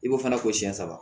I b'o fana ko siɲɛ saba